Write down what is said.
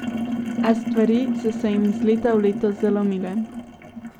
A stvari so se jim iz leta v leto zalomile.